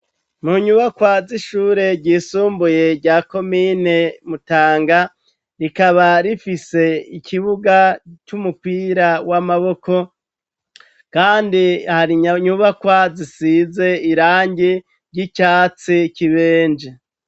Mu nyubakwa z'ishure ryisumbuye rya komine Mutanga, rikaba rifise ikibuga c'umupira w'amaboko, kandi hari nyubakwa zisize irangi ry'icatsi kibenje.